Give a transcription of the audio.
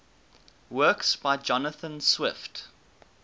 works by jonathan swift